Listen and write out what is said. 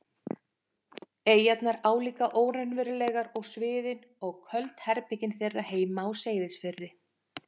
eyjarnar álíka óraunverulegar og sviðin og köld herbergin þeirra heima á Seyðisfirði.